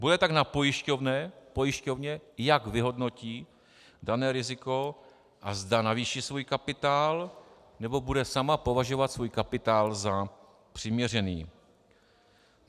Bude tak na pojišťovně, jak vyhodnotí dané riziko a zda navýší svůj kapitál, nebo bude sama považovat svůj kapitál za přiměřený.